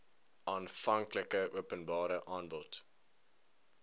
aanvanklike openbare aanbod